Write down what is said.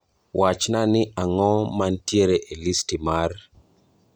Wachna ni ango mantiere e listi mar